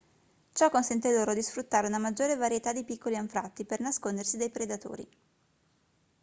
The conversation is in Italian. ciò consente loro di sfruttare una maggiore varietà di piccoli anfratti per nascondersi dai predatori